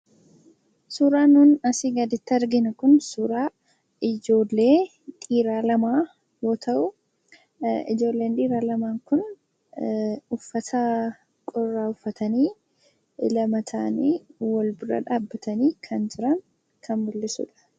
Suuraan asiin gaditti arginu Kun suura ijoollee dhiiraa lama yoo ta'u. Ijoolleen dhiiraa laman kun uffata qorraa uffatanii lama ta'anii walfaana dhaabanii kan mul'atanidha.